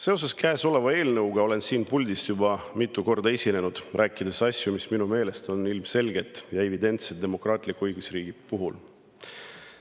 Seoses käesoleva eelnõuga olen siin puldis juba mitu korda esinenud, rääkides asju, mis minu meelest on ilmselged ja evidentsed demokraatliku õigusriigi puhul.